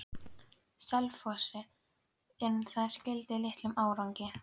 Selfossi, en það skilaði litlum árangri.